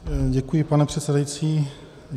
Děkuji, pane předsedající.